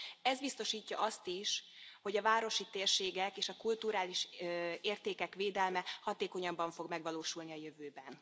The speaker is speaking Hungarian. Ez biztosítja azt is, hogy a városi térségek és a kulturális értékek védelme hatékonyabban fog megvalósulni a jövőben.